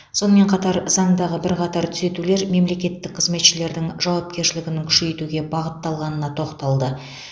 сонымен қатар заңдағы бірқатар түзетулер мемлекеттік қызметшілердің жауапкершілігінің күшейтуге бағытталғанына тоқталды